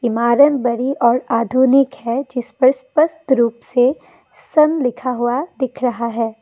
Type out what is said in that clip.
इमारत बड़ी और आधुनिक है जिस पर स्पष्ट रूप से सन लिखा हुआ दिख रहा है।